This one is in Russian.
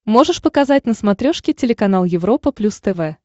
можешь показать на смотрешке телеканал европа плюс тв